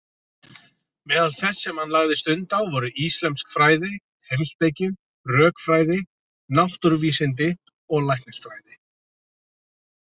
Meðal þess sem hann lagði stund á voru íslömsk fræði, heimspeki, rökfræði, náttúruvísindi og læknisfræði.